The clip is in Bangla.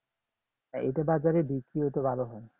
এটা বাজারে বিক্রি অত ভালো হয়